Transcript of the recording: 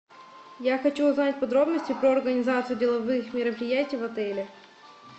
я хочу узнать подробности про организацию деловых мероприятий в отеле